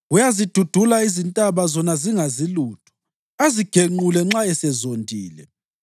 Uyazidudula izintaba zona zingazi lutho, azigenqule nxa esezondile.